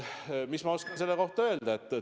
Mis ma oskan selle kohta öelda?